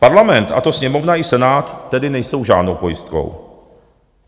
Parlament, a to Sněmovna i Senát, tedy nejsou žádnou pojistkou.